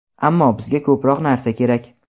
ammo bizga ko‘proq narsa kerak.